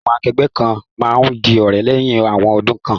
Àwon akẹgbẹ́ kan ma n di òrẹ́ léyhin awon odún kan